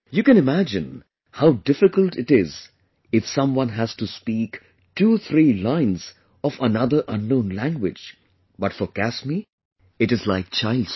You can imagine how difficult it is if someone has to speak twothree lines of another unknown language, but for Kasmi it is like child's play